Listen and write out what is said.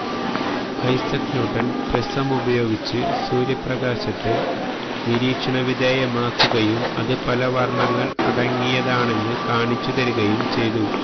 Isaac Newton പ്രിസമുപയോഗിച്ച് സൂര്യപ്രകാശത്തെ നിരീക്ഷണ വിധേയമാക്കുകയും അത് പല വർണ്ണങ്ങൾ അടങ്ങിയതാണെന്ന് കാണിച്ചു തരികയും ചെയ്തു